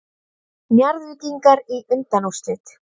Njarðvíkingar í undanúrslit